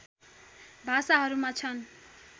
भाषाहरूमा छन्